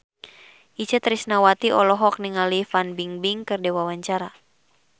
Itje Tresnawati olohok ningali Fan Bingbing keur diwawancara